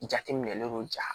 Jateminɛlen don ja